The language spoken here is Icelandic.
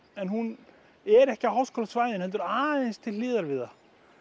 en hún er ekki á háskólasvæðinu heldur aðeins til hliðar við það